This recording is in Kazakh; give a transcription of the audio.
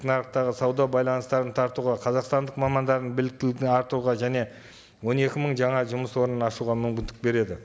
нарықтағы сауда байланыстарын тартуға қазақстандық мамандарының біліктілігін артуға және он екі мың жаңа жұмыс орнын ашуға мүмкіндік береді